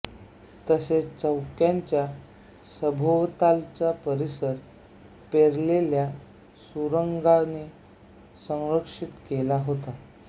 तसेच चौक्यांचा सभोवतालचा परिसर पेरलेल्या सुरूंगांनी संरक्षित केला होता